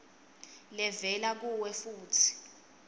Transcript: levela kuwe futsi